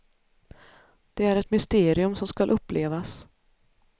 Det är ett mysterium som skall upplevas.